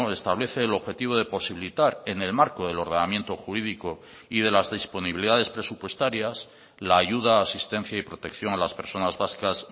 establece el objetivo de posibilitar en el marco del ordenamiento jurídico y de las disponibilidades presupuestarias la ayuda asistencia y protección a las personas vascas